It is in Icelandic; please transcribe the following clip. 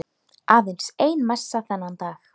Aðeins ein messa þennan dag.